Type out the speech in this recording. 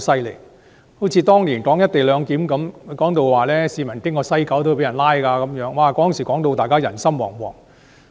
例如，當年討論"一地兩檢"時，他們幾乎說市民途經西九龍站也會被拘捕，令大家人心惶惶。